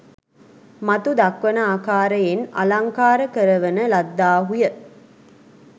මතු දක්වන ආකාරයෙන් අලංකාර කරවන ලද්දාහු ය.